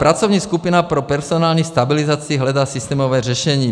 Pracovní skupina pro personální stabilizaci hledá systémové řešení.